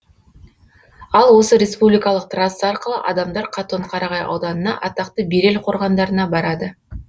ал осы республикалық трасса арқылы адамдар қатон қарағай ауданына атақты берел қорғандарына барады